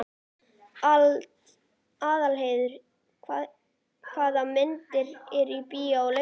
Arnheiður, hvaða myndir eru í bíó á laugardaginn?